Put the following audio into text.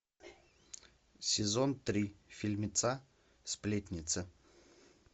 сезон три фильмеца сплетница